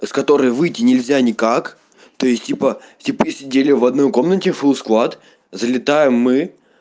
из который выйти нельзя никак то есть типа типы сидели в одной комнате фулл склад залетаем мы